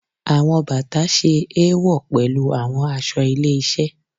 Awọn bata ṣe éwọ pẹlu awọn aṣọ ile-iṣẹ